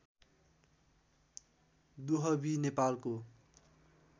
दुहवी नेपालको